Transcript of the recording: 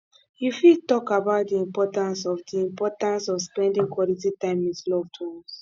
you fit talk about di importance of di importance of spending quality time with loved ones